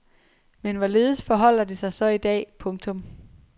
Men hvorledes forholder det sig så i dag. punktum